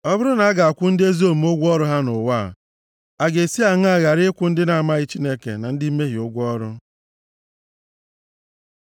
Ọ bụrụ na a ga-akwụ ndị ezi omume ụgwọ ọrụ ha nʼụwa a; a ga-esi aṅaa ghara ịkwụ ndị na-amaghị Chineke na ndị mmehie ụgwọ ọrụ.